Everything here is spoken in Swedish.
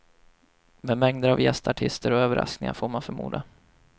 Med mängder av gästartister och överraskningar, får man förmoda.